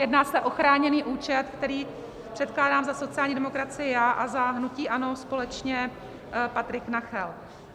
Jedná se o chráněný účet, který předkládám za sociální demokracii já a za hnutí ANO společně Patrik Nacher.